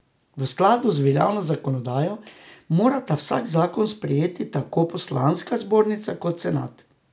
V skladu z veljavno zakonodajo morata vsak zakon sprejeti tako poslanska zbornica kot senat.